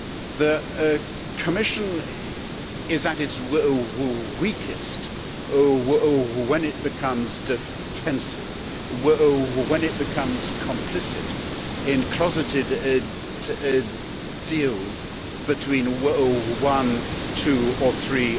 The Commission is at its weakest when it becomes defensive, when it becomes complicit in closeted deals between one, two or three